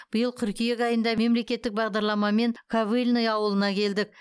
биыл қыркүйек айында мемлекеттік бағдарламамен ковыльное ауылына келдік